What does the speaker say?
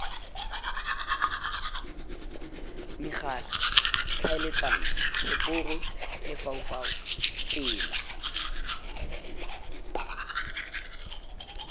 megala tlhaeletsano seporo lefaufau tsela